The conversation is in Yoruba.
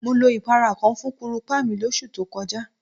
Mo lo ìpara kan fún kúrùpá mi lóṣù tó kọjá.